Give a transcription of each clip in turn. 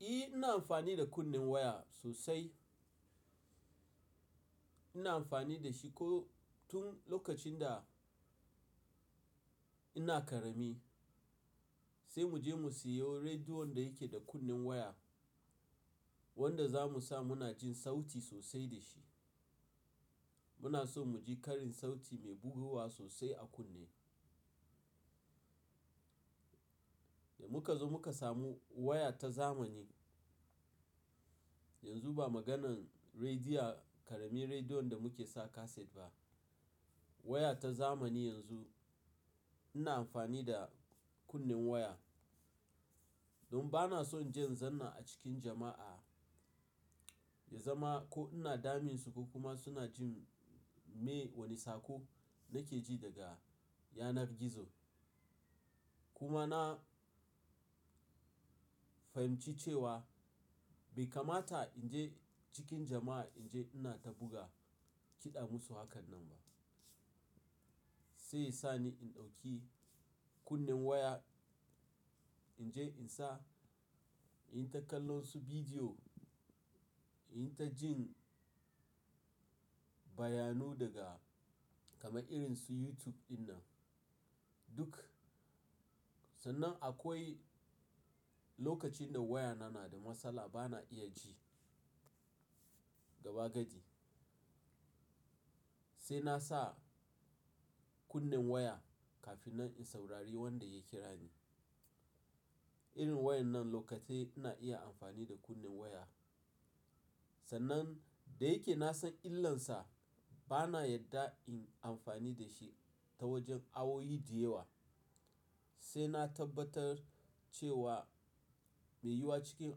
Eh ina amfani da kunnen waya sosai. Ina amfani da shi ko tun lokacin da ina karami. Sai mu je mu siyo rediyon da yake da kunnen waya wanda za mu sa muna jin sauti sosai da shi. Muna so mu ji karin sauti mai buguwa sosai a kunne. Da muka zo muka samu waya ta zamani. Yanzu ba maganan rediyo, ƙaramin rediyon da muke sa kaset ba. Waya ta zamani yanzu ina amfani da kunnen waya. Don bana son inje in zanna a cikin jama'a, ya zama ko ina damun su ko kuma suna jin me wane sako nake ji daga yanar gizo. Kuma na fahimci cewa bai kamata in je cikin jama'a in je ina ta buga kiɗa musu hakan nan ba. Sai sani in ɗauki kunnen waya in je in sa, in yi ta kallon su bidiyo, in yi ta jin bayanu daga kama irin su YouTube dinnan duk. Sannan akwai lokacin da wayana na da matsala bana iya ji gaba gadi. Sai na sa kunnen waya kafin in saurari wanda ya kira ni. Irin wayar nan lokatai ina iya amfani da kunnen waya. Sannan da yake na san illansa bana yarda in amfani da shi ta wajen awowi diyewa. Sai na tabbatar cewa mai yi wa cikin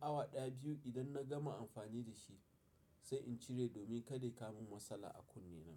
awa ɗaya biyu idan na gama amfani da shi sai in cire domin kada ya kawo min matsala a kunne na.